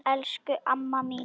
Elsku amma mín!